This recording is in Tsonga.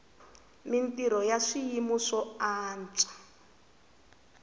mintrho ya swiyima swo antswa